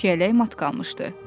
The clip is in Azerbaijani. Çiyələk mat qalmışdı.